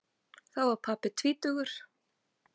Þá var pabbi tvítugur.